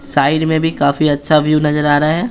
Side में भी काफी अच्छा व्यू नजर आ रहा है।